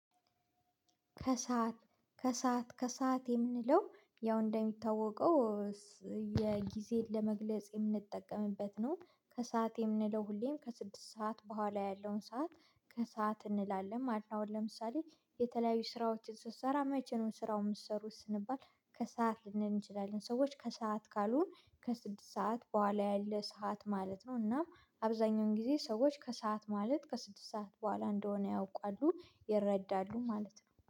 ከሰአት ከሰአት ከሰአት የምንለው ያው እንደሚታወቀው የጊዜን ለመግለጽ የምንጠቀምበት ነው ከሰአት የምንለው ሁሌም ከስድስት ሰዓት በኋላ ያለውን ሰዓት ከሰአት እንላለን ማለት ነው። ለምሳሌ የተለያዩ ስራዎችን ስትሰራ መቼነው ስራው የምትሰሩት ስንባል? ከሰአት ልንል እንችላለን ሰዎች ከሰአት ካሉን ከስድስት ሰዓት በኋላ ያለ ሰዓት ማለት ነው። እና አብዛኛውን ጊዜ ሰዎች ከሰአት ማለት ከስድስት ሰዓት በኋላ እንደሆነ ያውቃሉ ይረዳሉ ማለት ነው